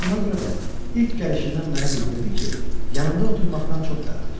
Elə buna görə də ilk gəlişindən mənə bildirdi ki, yanımda oturmaqdan çox darıxır.